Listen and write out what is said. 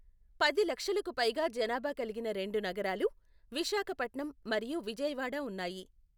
పది లక్షలకు పైగా జనాభా కలిగిన రెండు నగరాలు, విశాఖపట్నం మరియు విజయవాడ ఉన్నాయి.